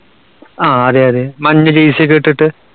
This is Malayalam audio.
ആ, അതെയതെ. മഞ്ഞ jersey യൊക്കെ ഇട്ടിട്ട്.